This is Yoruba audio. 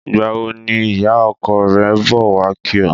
Ìgbà wo ni ìyá o̩ko̩ re̩ ń bò̩ wá kí o̩?